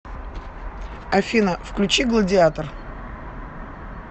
афина включи гладиатор